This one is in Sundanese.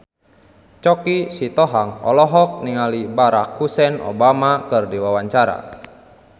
Choky Sitohang olohok ningali Barack Hussein Obama keur diwawancara